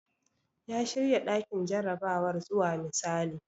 Ya shirya ɗakin jarabawar zuwa misali.